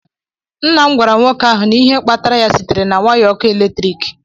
Nna m gwara nwoke ahụ na ihe kpatara ya sitere na waya ọkụ eletrik